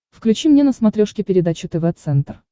включи мне на смотрешке передачу тв центр